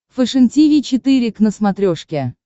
фэшен тиви четыре к на смотрешке